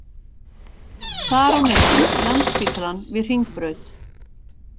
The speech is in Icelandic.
Þar á meðal Landspítalann við Hringbraut